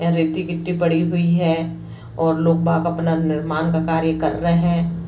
यहाँ रेती मिट्टी पड़ी हुई है और लोग बाग अपना निर्माण का कार्य कर रहे है।